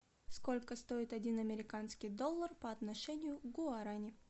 сколько стоит один американский доллар по отношению к гуарани